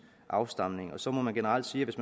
afstamning og så må det generelt siges